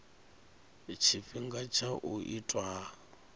tshifhinga tsha u itwa ha